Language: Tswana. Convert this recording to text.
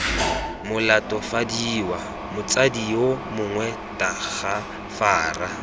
molatofadiwa motsadi yo mongwe tagafara